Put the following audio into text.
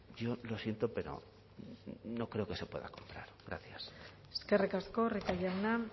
yo lo siento pero no creo que se pueda gracias eskerrik asko rico jauna